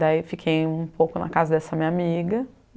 Daí fiquei um pouco na casa dessa minha amiga.